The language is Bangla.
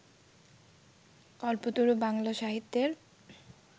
কল্পতরু বাংলা সাহিত্যের